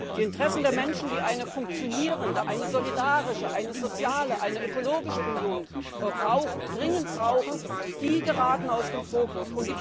Die Interessen der Menschen, die eine funktionierende, eine solidarische, eine soziale, eine ökologische Union dringend brauchen, geraten aus dem Fokus.